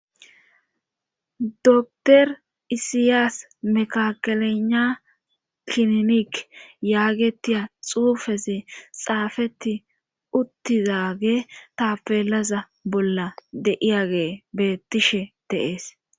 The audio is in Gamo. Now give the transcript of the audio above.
Dotor isiyaas mekakelena kinimik yaagetiya xuufesi xaafeti uttizage tapelaza bolla deiyage bettishe deees